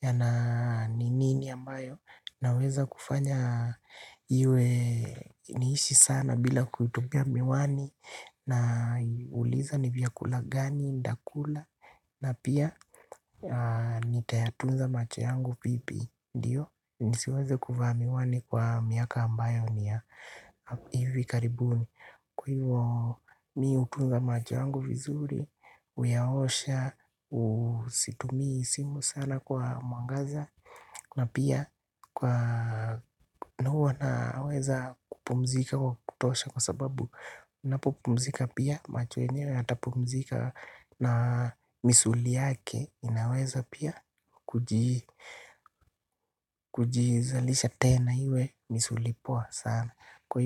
Yana ni nini ambayo naweza kufanya iwe niishi sana bila kutubia miwani. Na uliza ni vyakula gani, nitakula. Na pia nitayatunza macho yangu vipi. Ndiyo, nisiweze kuvaa miwani kwa miaka ambayo niya. Ivi karibuni. Kwa hivyo mi hutunga macho yangu vizuri, uyaosha, usitumii simu sana kwa mwangaza. Na pia kwa nuru wanaweza kupumzika kwa kutosha kwa sababu unapopumzika pia macho yenyewe yatapumzika na misuli yake inaweza pia kujizalisha tena iwe misuli poa sana. Kwa hivyo.